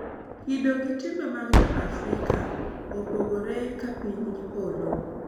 Kido gi timbe mag jo Afrika opogore ka piny gi polo.